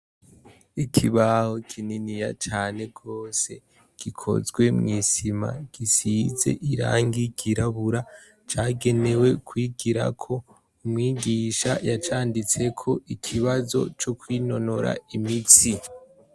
Ikibaho kininiya cane gose gikozwe mwi sima gisize irangi ry'irabura cagenewe kwigirako, umwigisha yacanditseko ikibazo cokwinonora imitsi.